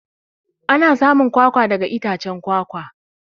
Ana samun kwakwa daga itacen kwakwa.